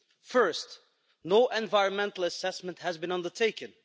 First, no environmental assessment has been undertaken.